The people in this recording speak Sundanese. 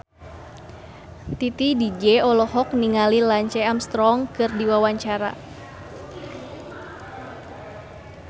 Titi DJ olohok ningali Lance Armstrong keur diwawancara